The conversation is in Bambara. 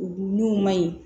N'o ma ɲi